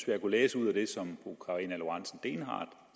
jeg kunne læse ud af det som fru karina lorentzen dehnhardt